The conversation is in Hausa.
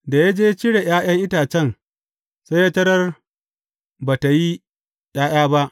Da ya je cire ’ya’yan itacen, sai ya tarar ba tă yi ’ya’ya ba.